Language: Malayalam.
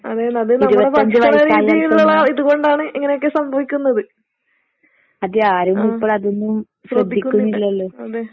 അത് തന്നെ. അത് നമ്മടെ ഭക്ഷണ രീതിയിലുള്ള ഇതുകൊണ്ടാണ് ഇങ്ങനെയൊക്കെ സംഭവിക്കുന്നത്. ആം. ശ്രദ്ധിക്കുന്നില്ല അതെ.